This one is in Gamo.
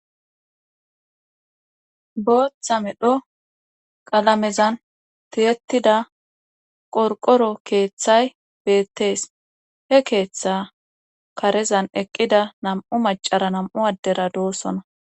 Booththa medho qalamezan tiyettida qorqoro keeththay beettees he keeththa karezan eqqida nam7u macara nam7u addera doossona.